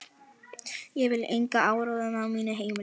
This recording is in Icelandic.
Ég vil engan áróður á mínu heimili.